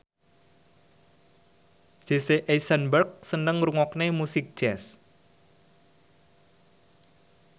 Jesse Eisenberg seneng ngrungokne musik jazz